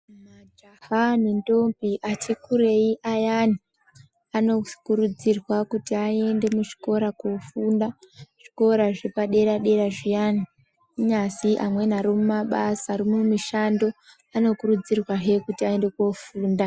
Majaha nendombi ati kurei ayani anokurudzirwa kuti aende muzvikora koofunda kuzvikora zvepadera dera zviyani kunyazwi amweni ari mumabasa, ari mumishando anokurudzirwahe kuti aende koofunda.